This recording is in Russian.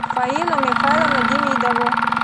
фаину михайловну демидову